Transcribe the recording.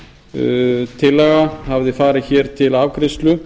umrædd tillaga hafði farið hér til afgreiðslu